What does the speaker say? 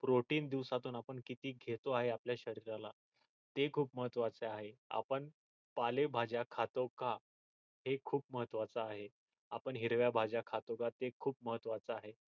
protine दिवसातून आपण किती घेतो आहे आपल्या शरीराला हे खूप महत्वाचे आहे आपण पालेभाज्या खातो का हे खूप महत्वाच आहे आपण हिरव्या भाज्या खातो का ते खूप महत्वाच आहे